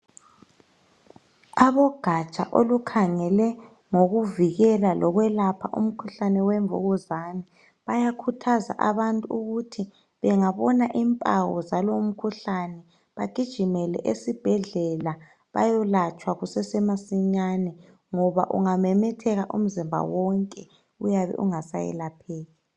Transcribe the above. Abogatsha olukhangele ngokuvikela lokwelapha umkhuhlane wemvukuzane bayakhuthaza abantu ukuthi bengabona impawu zalowo mkhuhlane bagijimele esibhedlela bayolatshwa kusese masinyane ngoba ungamemetheka umzimba wonke uyabe ungasayelapheki